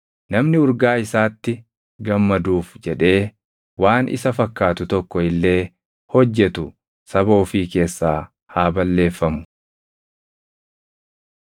Namni urgaa isaatti gammaduuf jedhee waan isa fakkaatu tokko illee hojjetu saba ofii keessaa haa balleeffamu.”